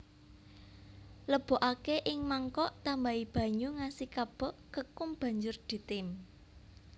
Lebokake ing mangkok tambahi banyu ngasi kabeh kekum banjur ditim